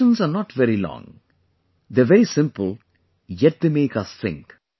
These questions are not very long ; they are very simple, yet they make us think